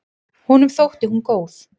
Honum þótti hún góð.